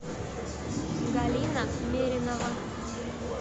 галина меринова